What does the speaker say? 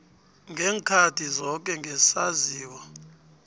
ngeenkhathi zoke ngesaziso